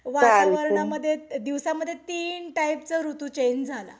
वातावरणामध्ये दिवसामध्ये तीन टाईपचा ऋतू चेंज झाला.